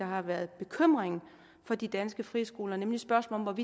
har været bekymringen for de danske friskoler nemlig spørgsmålet om